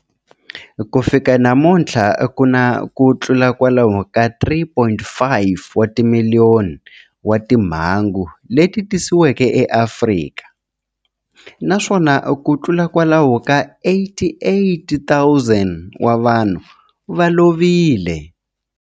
Ku fika namuntlha ku na kutlula kwalomu ka 3.5 wa timiliyoni wa timhangu leti tiyisisiweke eAfrika, naswona kutlula kwalomu ka 88,000 wa vanhu va lovile.